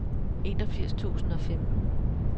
enogfirs tusind og femten